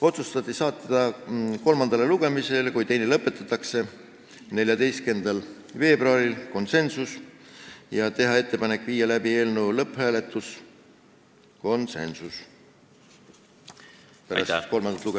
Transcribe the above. Otsustati saata eelnõu kolmandale lugemisele, kui teine lõpetatakse, 14. veebruariks , ja teha ettepanek panna eelnõu pärast kolmandat lugemist lõpphääletusele .